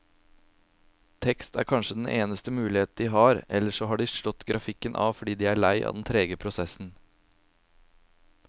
Tekst er kanskje den eneste mulighet de har, eller så har de slått grafikken av fordi de er lei av den trege prosessen.